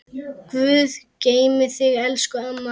Guð geymi þig, elsku amma.